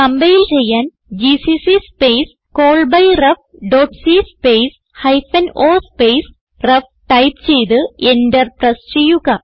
compile ചെയ്യാൻ GCC space call by ref dot c space hyphen o space ref type ചെയ്ത് enter press ചെയ്യുക